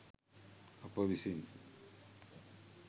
අප විසින්